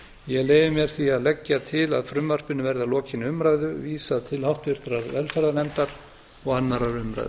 ég leyfi mér því að leggja til að frumvarpinu verði að lokinni umræðu vísað til háttvirtrar velferðarnefndar og annarrar umræðu